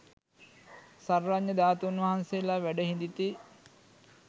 සර්වඥ ධාතූන් වහන්සේලා වැඩ හිඳිති